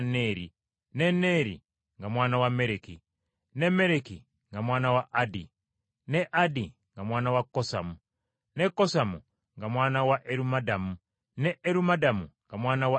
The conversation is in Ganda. ne Neeri nga mwana wa Mereki, ne Mereki nga mwana wa Addi, ne Addi nga mwana wa Kosamu, ne Kosamu nga mwana wa Erumadamu, ne Erumadamu nga mwana wa Eri,